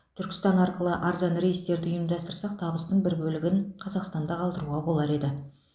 түркістан арқылы арзан рейстерді ұйымдастырсақ табыстың бір бөлігін қазақстанда қалдыруға болар еді